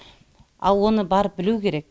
ал оны барып білу керек